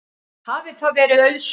Hafi það verið auðsótt.